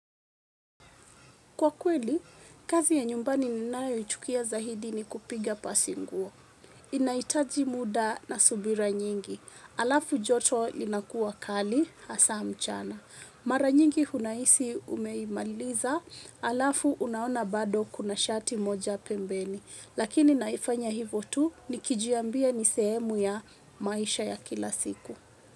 Kwa kweli, kazi ya nyumbani ninayoichukia zaidi ni kupiga pasi nguo. Inahitaji muda na subira nyingi alafu joto inakuwa kali asa mchana mara nyingi unahisi umeimaliza. Alafu unaona bado kuna shati moja pembeni. Lakini naifanya hivo tu nikijiambia ni sehemu ya maisha ya kila siku.